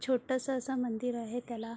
छोट्स अस मंदिर आहे त्याला--